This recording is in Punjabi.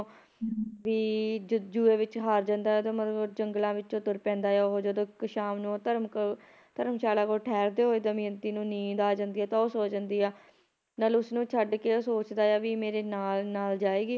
ਵੀ ਜੂਏ ਵਿੱਚ ਹਾਰ ਜਾਂਦਾ ਆ ਤੇ ਮਤਲਬ ਜੰਗਲਾਂ ਵਿੱਚ ਤੁਰ ਪੈਂਦਾ ਉਹ ਜਦੋ ਕ ਸ਼ਾਮ ਨੂੰ ਉਹ ਧਰਮ ਧਰਮਸ਼ਾਲਾ ਕੋਲ ਠਹਿਰਦੇ ਹੋਏ ਦਮਿਅੰਤੀ ਨੂੰ ਨੀਂਦ ਆ ਜਾਂਦੀ ਆ ਤਾਂ ਉਹ ਸੋ ਜਾਂਦੀ ਆ, ਨਲ ਉਸਨੂੰ ਛੱਡਕੇ ਉਹ ਸੋਚਦਾ ਆ ਵੀ ਮੇਰੇ ਨਾਲ ਨਾਲ ਜਾਏਗੀ